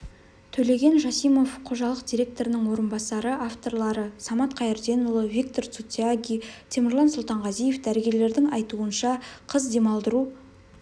төлеген жасимов қожалық директорының орынбасары авторлары самат қайырденұлы виктор сутяги темірлан сұлтанғазиев дәрігерлердің айтуынша қыз демалдыру